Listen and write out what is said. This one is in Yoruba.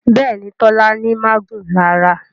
Béèni Tola ní magun lára.